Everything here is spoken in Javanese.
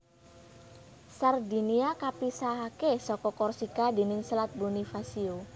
Sardinia kapisahaké saka Korsika déning Selat Bonifacio